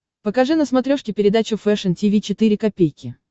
покажи на смотрешке передачу фэшн ти ви четыре ка